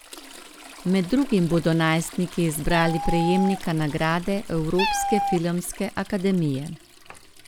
Med drugim bodo najstniki izbrali prejemnika nagrade Evropske filmske akademije.